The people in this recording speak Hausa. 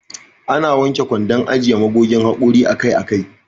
Ana wanke kwandon ajiye magogin haƙori akai akai.